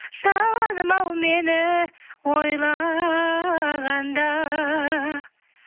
жаным ау мені ойлағанда